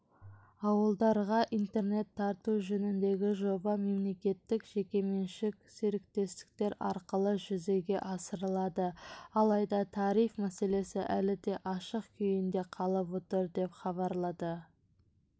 ауылдарға интернет тарту жөніндегі жоба мемлекеттік-жекеменшік серіктестіктер арқылы жүзеге асырылады алайда тариф мәселесі әлі де ашық күйінде қалып отыр деп хабарлады